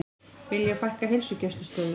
Vilja fækka heilsugæslustöðvum